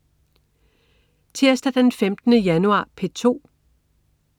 Tirsdag den 15. januar - P2: